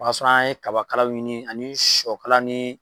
O y'a sɔrɔ an ye kabakalaw ɲini ani sɔkalaw ni